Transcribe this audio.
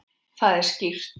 Það er skýrt.